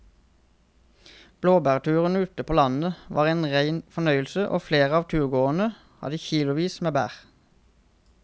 Blåbærturen ute på landet var en rein fornøyelse og flere av turgåerene hadde kilosvis med bær.